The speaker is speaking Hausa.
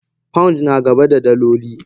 Pounds nagaba da daloli.